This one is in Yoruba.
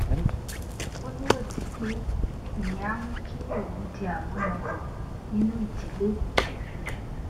ó nírètí pé ìyẹn á mú kí òun di àmúyangàn nínú ìdílé